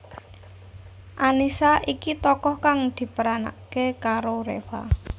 Annisa iki tokoh kang diperanaké karo Reva